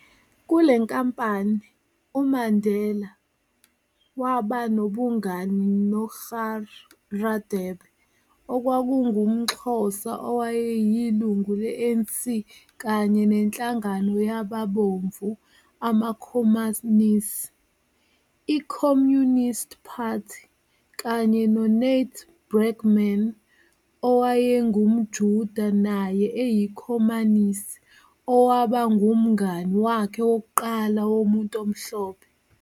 Kule nkampani, uMandela waba nobungani noGaur Radebe okwakungumXhosa owayeyilunga le-ANC kanye nenhlangano yamabomvu amaKhomanisi, i-Communist Party, kanye no-Nat Bregman, owayengumJuda naye eyikhomanisi, owaba ngumngani wakhe wokuqala womuntu omhlophe.